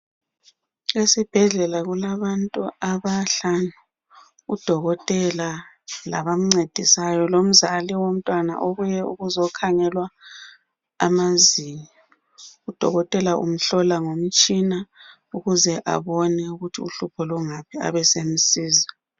Isibhedlela kulabantu abahlanu udolotela labamncedisayo lomzali womntwana obuye ukuzokhangelwa amazinyo, udolotela umhlola ngomtshina ukuze abone ukuthi uhlupho lungaphi abe esemsiza.